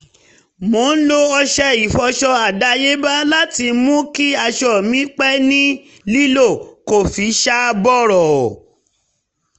mo ń lo ọṣẹ ìfọṣọ àdáyébá láti mú kí aṣọ mi pẹ́ ní lílò kò fi ṣá bọ̀rọ̀